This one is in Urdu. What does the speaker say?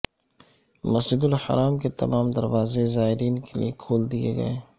مسجد الحرام کے تمام دروازے زائرین کیلئے کھول دئیے گئے